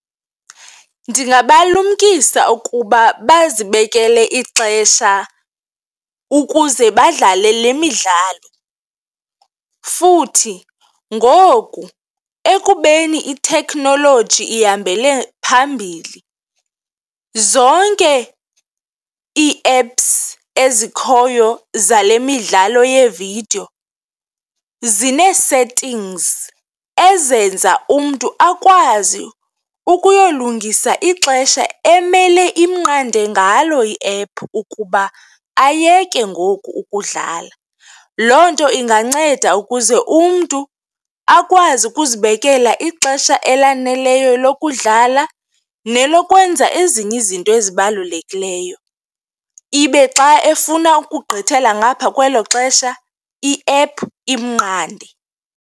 Ndingabalumkisa ukuba bazibekele ixesha ukuze badlale le midlalo futhi ngoku ekubeni ithekhnoloji ihambele phambili, zonke ii-apps ezikhoyo zale midlalo yeevidiyo zine-settings ezenza umntu akwazi ukuyolungisa ixesha emele imnqande ngalo iephu ukuba ayeke ngoku ukudlala. Loo nto inganceda ukuze umntu akwazi ukuzibekela ixesha elaneleyo lokudlala nelokwenza ezinye izinto ezibalulekileyo. Ibe xa efuna ukugqithela ngaphaa kwelo xesha, iephu iminqande.